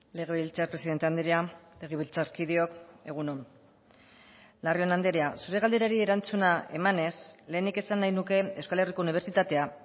legebiltzar presidente andrea legebiltzarkideok egun on larrion andrea zure galderari erantzuna emanez lehenik esan nahi nuke euskal herriko unibertsitatea